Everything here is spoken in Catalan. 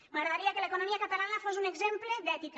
m’agradaria que l’economia catalana fos un exemple d’ètica